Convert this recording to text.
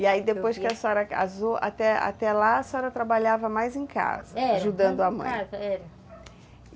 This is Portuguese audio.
E aí, depois que a senhora casou, até até lá a senhora trabalhava mais em casa, é, mais em casa, ajudando a mãe. Era.